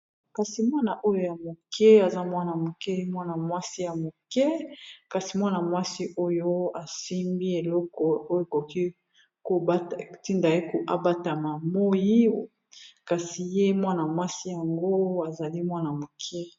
Kasi mwana oyo ya moke aza mwana moke mwana mwasi ya moke kasi mwana mwasi oyo asimbi eleko oyo ekoki, ntindaye koabatama moi kasi ye mwana mwasi yango azali mwana-moke.